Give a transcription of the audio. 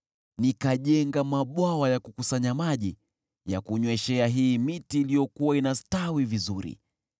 Nikajenga mabwawa ya kukusanya maji ya kunyweshea hii miti iliyokuwa inastawi vizuri.